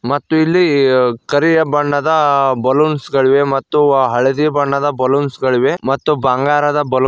ಮತ್ತು ಇಲ್ಲಿ ಕರಿಯ ಬಣ್ಣದ ಬಲೂನ್ಸ್ ಗಳಿವೆ ಮತ್ತು ಹಳದಿ ಬಣ್ಣದ ಬಲೂನ್ಸ್ ಗಳಿವೆ ಮತ್ತು ಬಂಗಾರದ ಬಲೂನ್ --